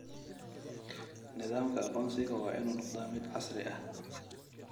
Nidaamka aqoonsiga waa inuu noqdaa mid casri ah.